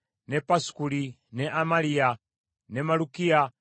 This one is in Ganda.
ne Pasukuli, ne Amaliya, ne Malukiya,